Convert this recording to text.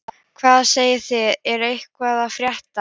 Hvað segið þið, er eitthvað að frétta?